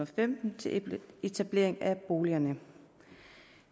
femten til etablering af boligerne